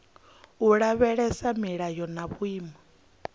u lavhelesa milayo na vhuimo